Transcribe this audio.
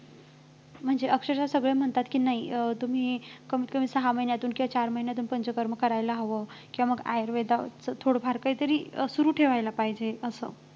म्हणजे अक्षरशः सगळे म्हणतात की नाही अं तुम्ही कमीतकमी सहा महिन्यातून किंवा चार महिन्यातून पंचकर्म करायला हवं किंवा मग आयुर्वेदाचं थोडं फार काहीतरी सुरु ठेवायला पाहिजे असं